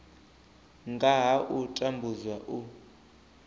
nga ha u tambudzwa u